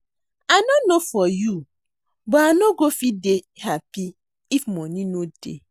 I no know for you but I no go fit dey happy if money no dey